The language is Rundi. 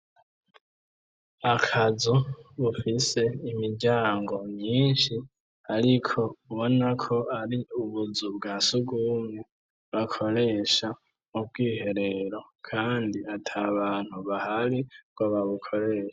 Akazu bufise imiryango myinshi ariko ubona ko ari ubuzu bwa sugumwe bakoresha mu bwiherero kandi ata abantu bahari ngo babukoresha.